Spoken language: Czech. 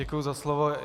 Děkuji za slovo.